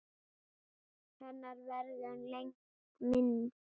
Hennar verður lengi minnst.